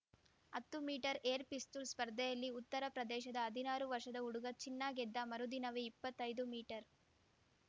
ಹತ್ತು metre air ಪಿಸ್ತೂಲ್‌ ಸ್ಪರ್ಧೆಯಲ್ಲಿ ಉತ್ತರ ಪ್ರದೇಶದ ಹದಿನಾರು ವರ್ಷದ ಹುಡುಗ ಚಿನ್ನ ಗೆದ್ದ ಮರುದಿನವೇ ಇಪ್ಪತ್ತೈದು ಮೀಟರ್